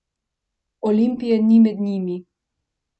Olimpije ni med njimi!